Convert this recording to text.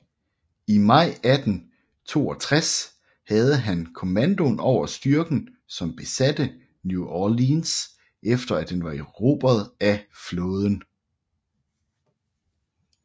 I maj 1862 havde han kommandoen over styrken som besatte New Orleans efter at den var erobret af flåden